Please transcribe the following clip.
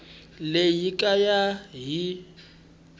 leyi hi ku ya hi